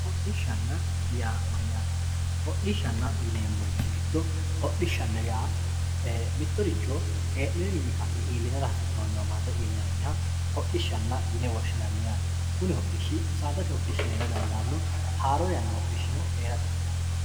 Hodhishanna yaa mayatte, hodhishanna yineemorichi gido hodhishanna yaa mitoricho hee'noyiwiinni ka'ne iillinara hasinoniwa mare iillinanniha hodhishanna yine woshinnanni yaate kuni hodhishi saadate hodhishi heerra dandano haaro yana hodhishi heera dandano